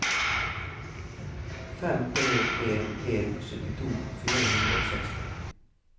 fem tre en en syttito fire hundre og seksti